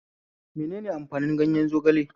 Menene amfanin ganyen zogale?